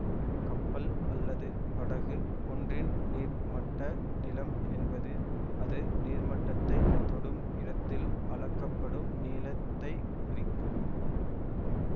கப்பல் அல்லது படகு ஒன்றின் நீர்மட்ட நிளம் என்பது அது நீர்மட்டத்தைத் தொடும் இடத்தில் அளக்கப்படும் நீளத்தைக் குறிக்கும்